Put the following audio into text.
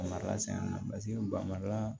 Marala san na paseke bamariya